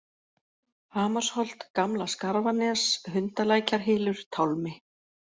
Hamarsholt, Gamla-Skarfanes, Hundalækjarhylur, Tálmi